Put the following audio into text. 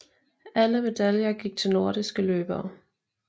Alle medaljer gik til nordiske løbere